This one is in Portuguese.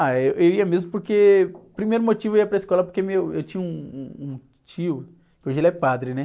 Ah, êh, eu ia mesmo porque... O primeiro motivo, eu ia para a escola é porque eu tinha um, um, um tio, hoje ele é padre, né?